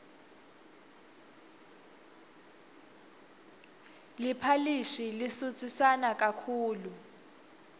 liphalishi lisutsisana kakhulu